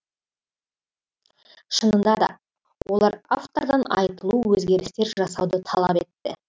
шынында да олар автордан айтулы өзгерістер жасауды талап етті